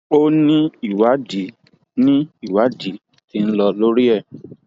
o ní ìwádìí ní ìwádìí tí ń lọ lórí ẹ